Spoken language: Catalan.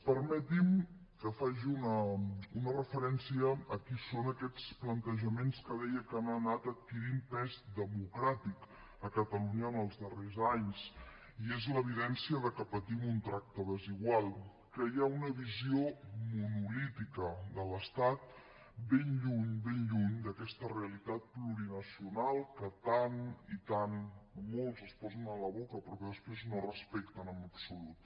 permeti’m que faci una referència a quins són aquests plantejaments que deia que han anat adquirint pes democràtic a catalunya en els darrers anys i és l’evidència que patim un tracte desigual que hi ha una visió monolítica de l’estat ben lluny ben lluny d’aquesta realitat plurinacional que tant i tant molts es posen a la boca però que després no respecten en absolut